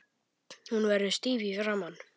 Hún verður stíf í framan.